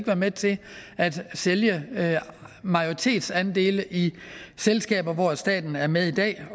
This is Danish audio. være med til at sælge majoritetsandele i selskaber hvor staten er med i dag